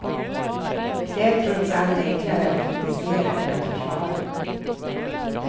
Det är trots allt enklare att kritisera än att försvara.